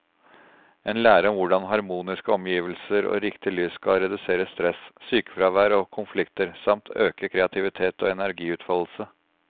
En lære om hvordan harmoniske omgivelser og riktig lys skal redusere stress, sykefravær og konflikter, samt øke kreativitet og energiutfoldelse.